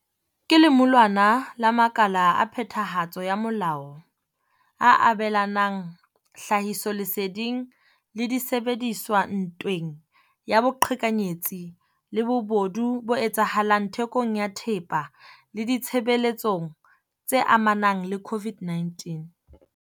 Ke lemulwana la makala a phethahatso ya molao a abelanang tlhahisoleseding le disebediswa ntweng ya boqhekanyetsi le bobodu bo etsahalang thekong ya thepa le ditshebeletsong tse amanang le COVID-19.